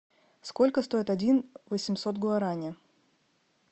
сколько стоит один восемьсот гуарани